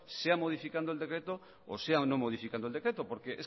sea modificando el decreto o sea no modificando el decreto porque